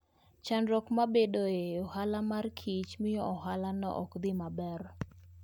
Chandruok mabedoe e ohala mar kich miyo ohalano ok dhi maber.